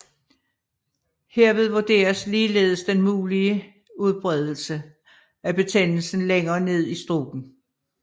Herved vurderes ligeledes den mulige udbredelse af betændelsen længere ned i struben